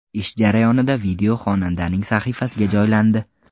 Ish jarayonidan video xonandaning sahifasiga joylandi.